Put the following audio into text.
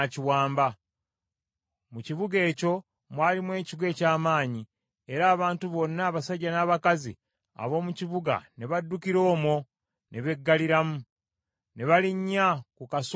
Mu kibuga ekyo mwalimu ekigo eky’amaanyi, era abantu bonna abasajja n’abakazi ab’omu kibuga ne baddukira omwo ne beggaliramu. Ne balinnya ku kasolya k’ekigo.